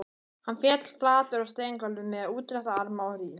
Hann féll flatur á steingólfið með útrétta arma og rím